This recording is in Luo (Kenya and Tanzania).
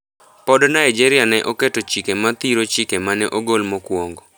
Pod Nigeria ne oketo chike ma thiro chike mane ogol mokuongo.